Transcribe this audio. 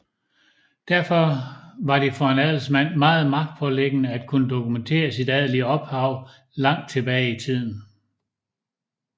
Derfor var det for en adelsmand meget magtpåliggende at kunne dokumentere sit adelige ophav langt tilbage i tiden